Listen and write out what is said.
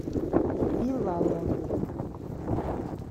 билалову